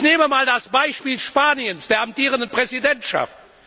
Ich nehme einmal das Beispiel Spaniens, der amtierenden Präsidentschaft.